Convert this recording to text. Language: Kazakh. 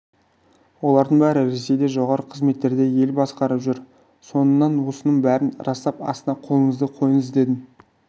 олардың бәрі ресейде жоғары қызметтерде ел басқарып жүр соңынан осының бәрін растап астына қолыңызды қойыңыз дедім